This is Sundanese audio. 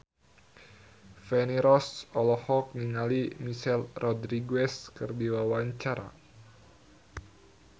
Feni Rose olohok ningali Michelle Rodriguez keur diwawancara